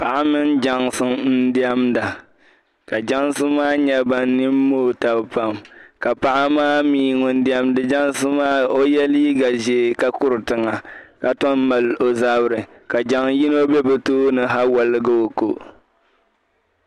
Paɣa mini jɛnsi n-diɛmda ka jɛnsi maa nyɛ ban nini mooi pam ka paɣa maa mi o ye liiga ʒee ka kuri tiŋa ka tom maali o zabiri ka jɛŋ' yino be bɛ tooni ha woligi o ko.